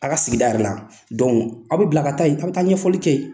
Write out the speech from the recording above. Aw ka sigida yɛrɛ la aw bɛ bila ka taa yen aw bɛ taa ɲɛfɔli kɛ yen.